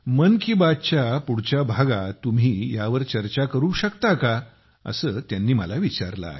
मन की बात च्या पुढच्या भागात तुम्ही यावर चर्चा करू शकता का असे त्यांनी मला विचारले आहे